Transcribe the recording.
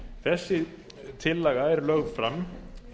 þessi tillaga er lögð fram